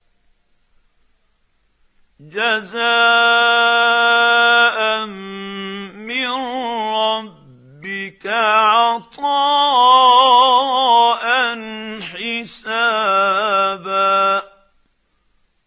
جَزَاءً مِّن رَّبِّكَ عَطَاءً حِسَابًا